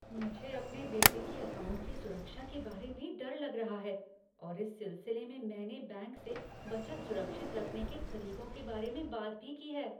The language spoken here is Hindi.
मुझे अपने बेटे के अकाउंट की सुरक्षा के बारे में डर लग रहा है और इस सिलसिले में मैंने बैंक से बचत सुरक्षित रखने के तरीकों के बारे में बात भी की है।